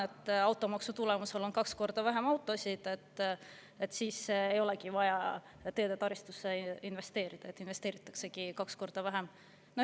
Kui automaksu tulemusel on kaks korda vähem autosid, siis ei olegi vaja teedetaristusse investeerida, investeeritaksegi kaks korda vähem.